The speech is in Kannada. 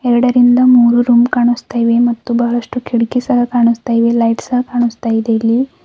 ಎರಡರಿಂದ ಮೂರು ರೂಮ್ ಕಾಣುಸ್ತಾ ಇವೆ ಮತ್ತು ಬಹಳಷ್ಟು ಕಿಟಕಿ ಸಹ ಕಾಣುಸ್ತಾ ಇವೆ ಲೈಟ್ ಸಹ ಕಾಣುಸ್ತಾ ಇದೆ ಇಲ್ಲಿ.